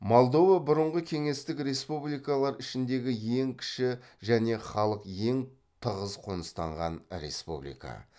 молдова бұрынғы кеңестік республикалар ішіндегі ең кіші және халық ең тығыз қоныстанған республика